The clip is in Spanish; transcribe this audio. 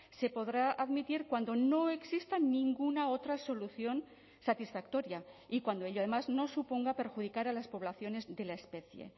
se podrá admitir cuando no exista ninguna otra solución satisfactoria y cuando ello además no suponga perjudicar a las poblaciones de la especie